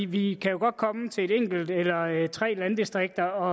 vi kan jo godt komme til et enkelt eller eller tre landdistrikter og